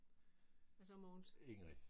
Hvad så Mogens?